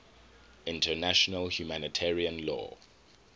international humanitarian law